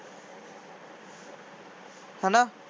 ਹੈ ਨਾ